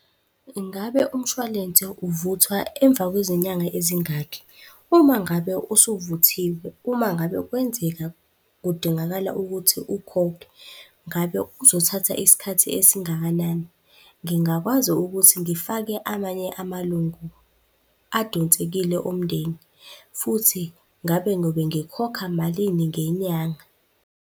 Ingabe umshwalense uvuthwa emva kwezinyanga ezingakhi? Uma ngabe usuvuthiwe, uma ngabe kwenzeka kudingakala ukuthi ukhokhe, ngabe uzothatha isikhathi esingakanani? Ngingakwazi ukuthi ngifake amanye amalungu adonsekile omndeni futhi ngabe ngiyobe ngikhokha malini ngenyanga?